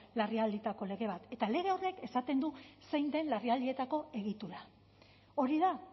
larrialdietako lege bat eta lege horrek esaten du zein den larrialdietako egitura hori da